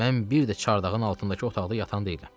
Mən bir də çardağın altındakı otaqda yatan deyiləm.